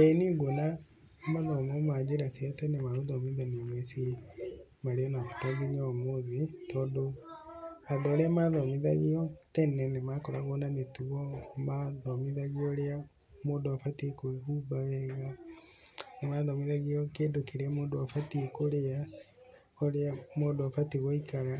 ĩĩ niĩ nguona mathomo ma njĩra cia tene ma gũthomithanĩria mũciĩ marĩ na bata nginya ũmũthĩ. Tondũ andũ arĩa mathomithagio tene ni makoragwo na mĩtugo, mathomithagio ũrĩa mũndũ abatiĩ kwĩhumba wega, nĩ mathomithagio kĩndũ kirĩa mũndũ abatiĩ kũrĩa, ũrĩa mũndũ abatiĩ gũikara.